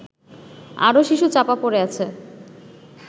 আরো শিশু চাপা পড়ে আছে